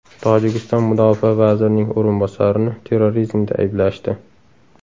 Tojikiston mudofaa vazirining o‘rinbosarini terrorizmda ayblashdi.